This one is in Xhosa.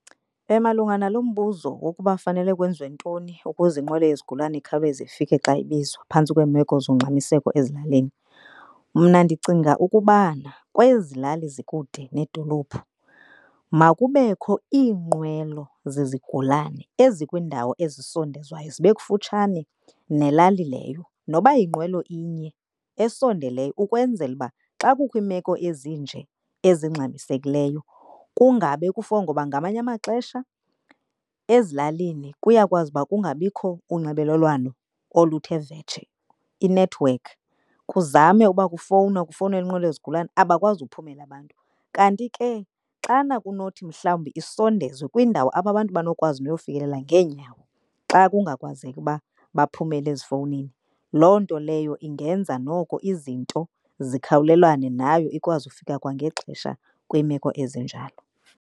Malunga nalo mbuzo wokuba fanele kwenziwe ntoni ukuze inqwelo yezigulana ikhawuleze ifike xa ibizwa phantsi kweemeko zongxamiseko ezilalini. Mna ndicinga ukubana kwezi lali zikude needolophu makubekho iinqwelo zezigulane ezikwindawo ezisondezwayo zibe kufutshane nelali leyo. Noba yinqwelo inye esondeleyo ukwenzela uba xa kukho iimeko ezinje ezingxamisekileyo kungabe kufonwa, ngoba ngamanye amaxesha ezilalini kuyakwazi uba kungabikho unxibelelwano oluthe vetshe inethiwekhi. Kuzame uba kufowunwa, kufowunelwa inqwelo yezigulana abakwazi uphumela abantu. Kanti ke xana kunothi mhlawumbi isondezwe kwiindawo apho abantu banokwazi niyofikelela ngeenyawo xa kungakwazeki uba baphumele ezifowunini. Loo nto leyo ingenza noko izinto zikhawulelane nayo ikwazi ukufika kwangexesha kwiimeko ezinjalo.